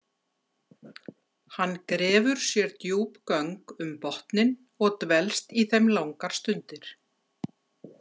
Hann grefur sér djúp göng um botninn og dvelst í þeim langar stundir.